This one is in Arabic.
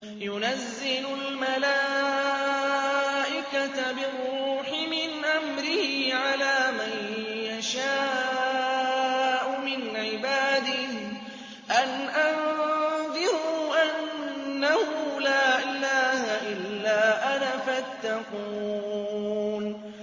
يُنَزِّلُ الْمَلَائِكَةَ بِالرُّوحِ مِنْ أَمْرِهِ عَلَىٰ مَن يَشَاءُ مِنْ عِبَادِهِ أَنْ أَنذِرُوا أَنَّهُ لَا إِلَٰهَ إِلَّا أَنَا فَاتَّقُونِ